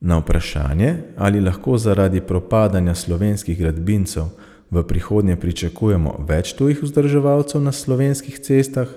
Na vprašanje, ali lahko zaradi propadanja slovenskih gradbincev v prihodnje pričakujemo več tujih vzdrževalcev na slovenskih cestah,